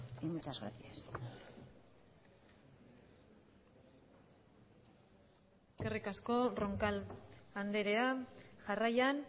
y muchas gracias eskerrik asko roncal andrea jarraian